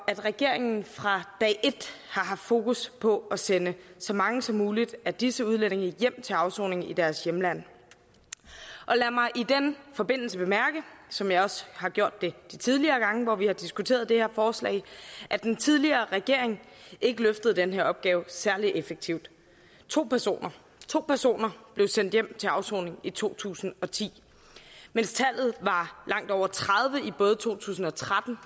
at regeringen fra dag et har haft fokus på at sende så mange som muligt af disse udlændinge hjem til afsoning i deres hjemland og lad mig i den forbindelse bemærke som jeg også har gjort det de tidligere gange hvor vi har diskuteret det her forslag at den tidligere regering ikke løftede den her opgave særlig effektivt to personer to personer blev sendt hjem til afsoning i to tusind og ti mens tallet var langt over tredive i både to tusind og tretten